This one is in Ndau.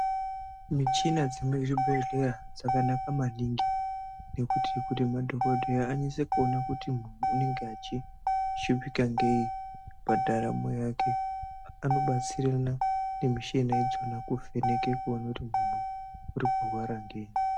Muchina dziri muzvibhedhlera dzakanaka maningi nekuti madhokodheya anyaso ona kuti muntu anenge achishupika neyi pandaramo yake anenge achidetserana nemushina iyona kuvheneka kuda kuona kuti muntu arikurwara ngei.